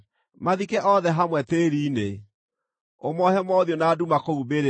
Mathike othe hamwe tĩĩri-inĩ; ũmoohe mothiũ na nduma kũu mbĩrĩra-inĩ.